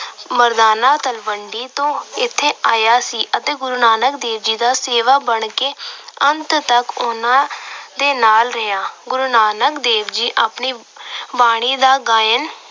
ਮਰਦਾਨਾ ਤਲਵੰਡੀ ਤੋਂ ਇੱਥੇ ਆਇਆ ਸੀ ਅਤੇ ਗੁਰੂ ਨਾਨਕ ਦੇਵ ਦਾ ਸੇਵਕ ਬਣ ਕੇ ਅੰਤ ਤੱਕ ਉਹਨਾਂ ਦੇ ਨਾਲ ਰਿਹਾ। ਗੁਰੂ ਨਾਨਕ ਦੇਵ ਜੀ ਆਪਣੀ ਬਾਣੀ ਦਾ ਗਾਇਨ